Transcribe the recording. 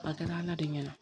A kɛra ala de ɲɛna